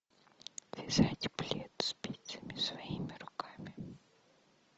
вязать плед спицами своими руками